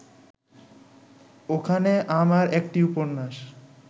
ওখানে আমার একটি উপন্যাস